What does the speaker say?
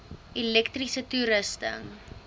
elektriese toerusting